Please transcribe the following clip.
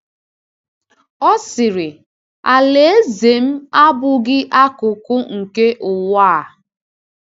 Ọ sịrị: “Alaeze m abụghị akụkụ nke ụwa a.”